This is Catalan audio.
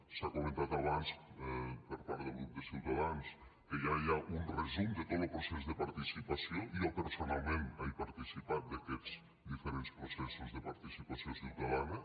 s’ha comentat abans per part del grup de ciutadans que ja hi ha un resum de tot lo procés de participació jo personalment he participat d’aquests processos de participació ciutadana